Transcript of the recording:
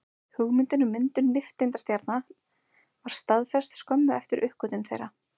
Hugmyndin um myndun nifteindastjarna var staðfest skömmu eftir uppgötvun þeirra.